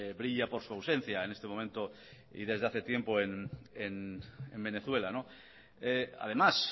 brilla por su ausencia en este momento y desde hace tiempo en venezuela además